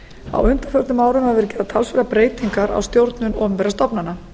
á undanförnum árum hafa verið gerðar talsverðar breytingar á stjórnun opinberra stofnana